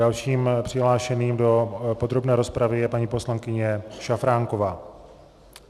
Dalším přihlášeným do podrobné rozpravy je paní poslankyně Šafránková.